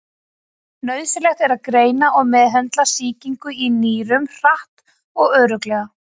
Nauðsynlegt er að greina og meðhöndla sýkingu í nýrum hratt og örugglega.